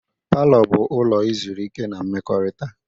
Palọ bụ ụlọ izurike na mmekọrịta.